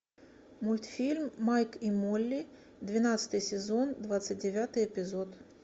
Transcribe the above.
мультфильм майк и молли двенадцатый сезон двадцать девятый эпизод